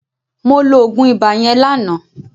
Mo lo oògùn ibà yẹn lánàá